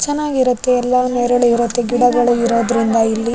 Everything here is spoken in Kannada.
ಚೆನ್ನಾಗಿರುತ್ತೆ ಎಲ್ಲ ನೆರಳಿರುತ್ತೆ ಗಿಡಗಳು ಇರೋದ್ರಿಂದ ಇಲ್ಲಿ.